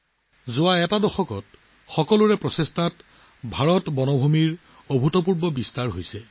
যোৱা দশকত ভাৰতৰ সকলোৰে প্ৰচেষ্টাৰ ফলত বনাঞ্চলৰ অভূতপূৰ্ব সম্প্ৰসাৰণ ঘটিছে